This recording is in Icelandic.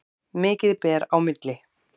Mikið ber á milli.